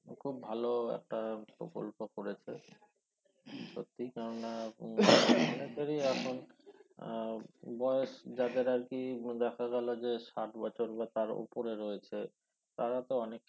খুব ভালো একটা প্রকল্প করেছে সত্যি আহ বয়স যাদের আরকি দেখা গেল যে ষাট বছর বা তার উপরে রয়েছে তারা তো অনেক